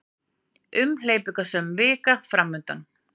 Umhleypingasöm vika framundan